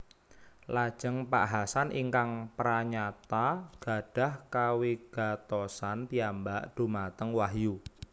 Lajeng Pak Hasan ingkang pranyata gadhah kawigatosan piyambak dhumateng Wahyu